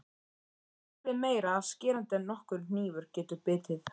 Og öskrið meira skerandi en nokkur hnífur getur bitið.